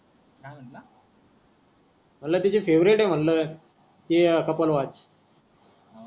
मनलं तिची फेवरेट आहे मनल ते कपल वॉच